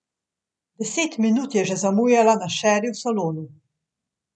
Deset minut je že zamujala na šeri v salonu.